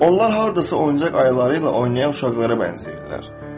Onlar hardasa oyuncaq ayıları ilə oynayan uşaqlara bənzəyirlər.